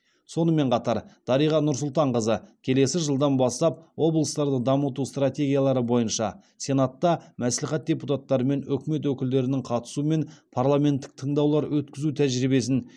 сонымен қатар дариға нұрсұлтанқызы келесі жылдан бастап облыстарды дамыту стратегиялары бойынша сенатта мәслихат депутаттары мен үкімет өкілдерінің қатысуымен парламенттік тыңдаулар өткізу тәжірибесін